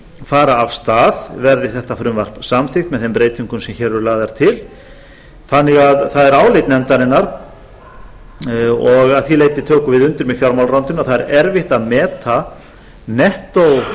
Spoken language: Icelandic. fara af stað verði þetta frumvarp samþykkt með þeim breytingum sem hér eru lagðar til það er því álit nefndarinnar og að því leyti tökum við undir með fjármálaráðuneytinu að það er erfitt að meta nettó